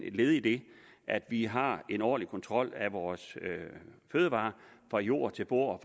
et led i at vi har en årlig kontrol af vores fødevarer fra jord til bord